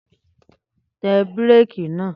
Tẹ bírèkì náà!